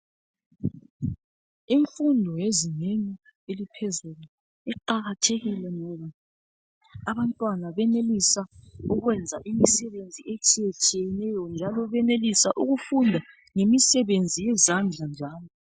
Imfundo ezingeni eliphezulu iqakathekile ngoba abantwana benelisa ukwenza imisebenzi etshiyetshiyeneyo njalo benelisa ukufunda ngemisebenzi yezandla zabo.